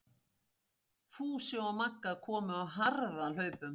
Fúsi og Magga komu á harðahlaupum.